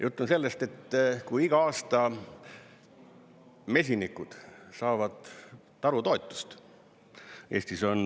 Jutt on sellest, et iga aasta mesinikud saavad tarutoetust.